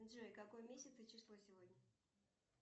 джой какой месяц и число сегодня